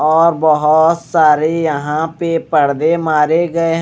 और बहोत सारे यहां पे पर्दे मारे गए--